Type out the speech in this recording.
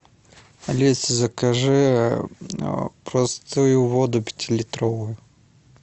алиса закажи простую воду пятилитровую